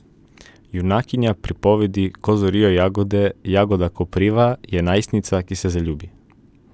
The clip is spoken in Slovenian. Junakinja pripovedi Ko zorijo jagode Jagoda Kopriva je najstnica, ki se zaljubi.